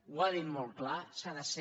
ho ha dit molt clar s’ha de ser